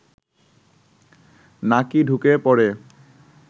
নাকি ঢুকে পড়ে